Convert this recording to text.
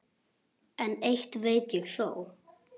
En eitt veit ég þó.